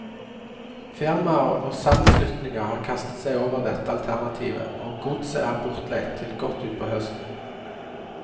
Firmaer og sammenslutninger har kastet seg over dette alternativet, og godset er bortleid til godt utpå høsten.